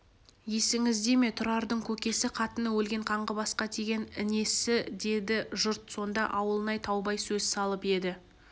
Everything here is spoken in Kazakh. есіңіздеме тұрардың көкесі қатыны өлген қаңғыбасқа тиген інесі деді жұрт сонда ауылнай таубай сөз салып еді